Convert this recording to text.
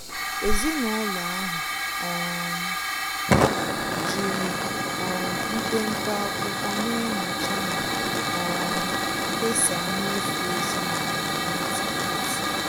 Ezinụlọ ahụ um jiri um mpepe akwụkwọ na-enyocha ma um kesaa mmefu ezinụlọ n'otu n'otu.